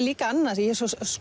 líka annað ég